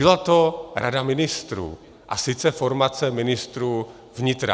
Byla to Rada ministrů, a sice formace ministrů vnitra.